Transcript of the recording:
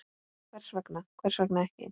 Hvers vegna, hvers vegna ekki?